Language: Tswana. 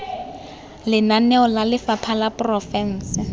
lenaneo la lefapha la diporofense